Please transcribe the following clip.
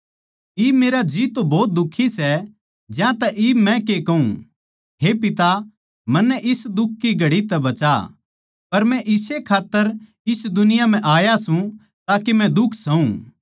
इब मेरा जी भोत दुखी सै ज्यांतै इब मै के कहूँ हे पिता मन्नै इस दुख की घड़ी तै बचा पर मै इस्से खात्तर इस दुनिया म्ह आया सूं ताके मै दुख सहु